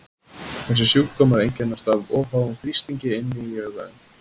þessir sjúkdómar einkennast af of háum þrýstingi inni í auganu